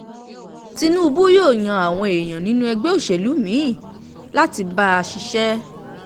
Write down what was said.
tinúbù yóò yan àwọn èèyàn nínú ẹgbẹ́ òṣèlú mí-ín láti bá a ṣiṣẹ́